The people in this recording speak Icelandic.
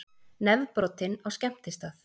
Nefbrotinn á skemmtistað